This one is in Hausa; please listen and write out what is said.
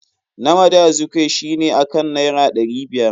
Nnamdi Azikwe shi ne akan naira ɗari biyar.